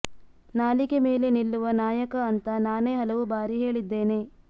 ನಾಲಿಗೆ ಮೇಲೆ ನಿಲ್ಲುವ ನಾಯಕ ಅಂತ ನಾನೇ ಹಲವು ಬಾರಿ ಹೇಳಿದ್ದೇನೆ